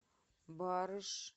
барыш